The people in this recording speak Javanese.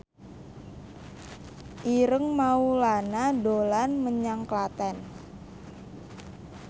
Ireng Maulana dolan menyang Klaten